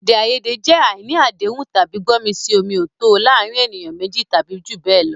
Èdè àìyedè jẹ́ àìní àdéhùn tàbí gbọ́mi-sí-omi-ò-tó o láàárín ènìyàn méjì tàbí jù bẹ́ẹ̀ lọ.